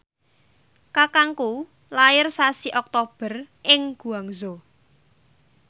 kakangku lair sasi Oktober ing Guangzhou